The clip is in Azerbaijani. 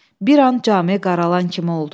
Bir an cami qaralan kimi oldu.